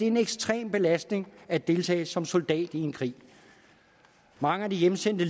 en ekstrem belastning at deltage som soldat i en krig mange af de hjemsendte